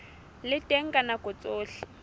le teng ka nako tsohle